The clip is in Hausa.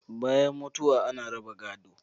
Bayan mutuwa ana raba gado